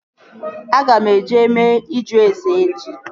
Aga m eje mee ịjụ ase echi